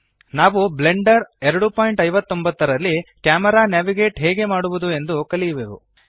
ನಾವು ಬ್ಲೆಂಡರ್ 259 ರಲ್ಲಿ camera navigate ಹೇಗೆ ಮಾಡುವದು ಎಂದು ಕಲಿಯುವೆವು